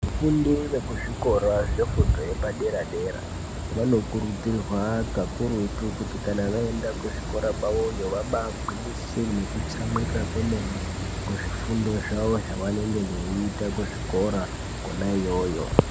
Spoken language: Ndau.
Vafundi vekuzvikora zvefundo yepadera-dera, vanokurudzirwa kakurutu kuti kana vaenda kuzvikora kwavoyo ,vabaagwinyisire nekutsamwirira kwemene ,kuzvifundo zvavo zvavanenge veiita kuzvikora kwona iyoyo.